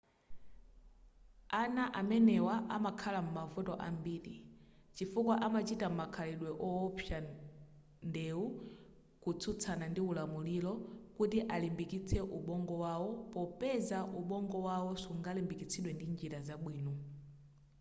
ana amenewa amakhala m'mavuto ambiri chifukwa amachita makhalidwe owopsa ndewu kutsutsana ndi ulamuliro kuti alimbikitse ubongo wawo popeza ubongo wawo sungalimbikitsidwe ndi njira zabwino